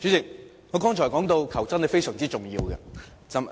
主席，我剛才說到求真是非常重要的。